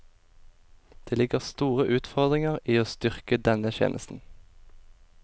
Det ligger store utfordringer i å styrke denne tjenesten.